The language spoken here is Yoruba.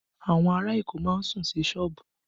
Awon ara Èkó má ń sùn sí sọ́ọ̀bù